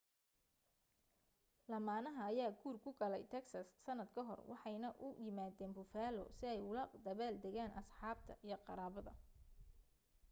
lamaanaha ayaa guur ku galay texas sanad ka hor waxay na u yimaadeen buffalo si ay ula dabaal degaan asxaabta iyo qaraabada